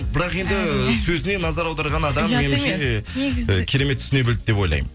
бірақ енді сөзіне назар аударған адам меніңше э керемет түсіне білді деп ойлаймын